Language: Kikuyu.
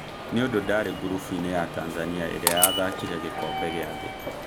Nĩundũ ndarĩ gurubuine ya Tanzania ĩrĩa yathakire gikombe gia thi